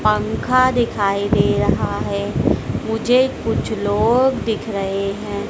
पंखा दिखाई दे रहा हैं मुझे कुछ लोग दिख रहें हैं।